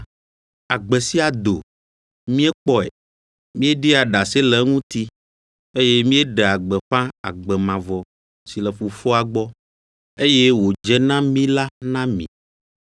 Agbe sia do, míekpɔe, míeɖia ɖase le eŋuti, eye míeɖea gbeƒã agbe mavɔ si le Fofoa gbɔ, eye wòdze na mí la na mi.